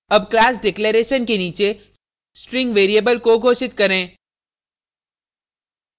अब class declaration के नीचे string variable को घोषित करें